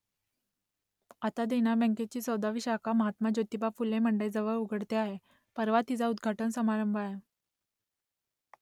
आता देना बँकेची चौदावी शाखा महात्मा ज्योतिबा फुले मंडईजवळ उघडते आहे परवा तिचा उद्घाटन समारंभ आहे